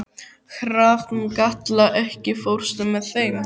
Hrafnkatla, ekki fórstu með þeim?